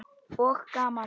Og gaman.